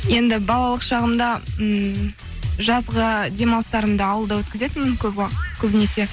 енді балалық шағымда ммм жазғы демалыстарымды ауылда өткізетінмін көбінесе